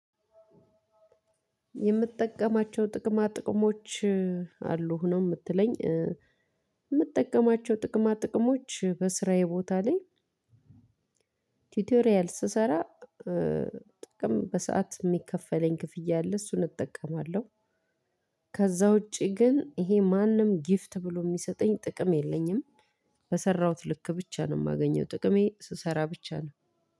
የምጠቀማቸው ጥቅማ ጥቅሞች አሉህ ነው ምትለኝ? ምጠቀማቸው ጥቅማ ጥቅሞች በስራዬ ቦታ ላይ። ቲቶሪያል ስሰራ ጥቅም በሰአት የሚከፈለኝ ክፍያ አለ እሱን እጠቀማለሁ። ከዛ ውጪ ግን ይሄ ማንም ጊፍት ብሎ የሚሰጠኝ ጥቅም የለኝም። በሰራሁት ልክ ብቻ ነው የማገኘው ጥቅሜ ስሰራ ብቻ ነው።